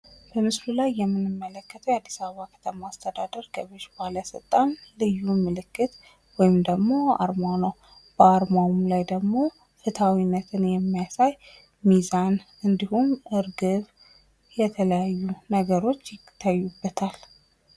በምስሉ ላይ የምንመለከተው የአድስ አበባ ከተማ አስተዳደር ገቢዎች ባለስልጣን ልዩ ምልክት ወይም አርማ ነው። በአርማውም ላይ ደግሞ ፍትሐዊነትን የሚሳይ ሚዛን እንድሁም ርግብ የተለያዩ ነገሮች ይታዩበታል።